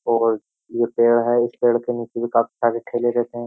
और ये पेड़ है इस पेड़ के नीचे भी काफी सारे ठेले रहते हैं।